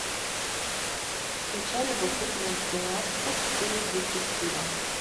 включай любопытную киношку в стиле детектива